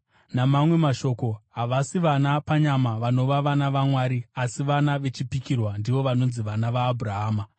Namamwe mashoko, havasi vana panyama vanova vana vaMwari, asi vana vechipikirwa ndivo vanonzi vana vaAbhurahama.